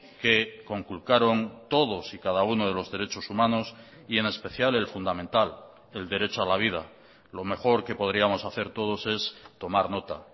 que conculcaron todos y cada uno de los derechos humanos y en especial el fundamental el derecho a la vida lo mejor que podríamos hacer todos es tomar nota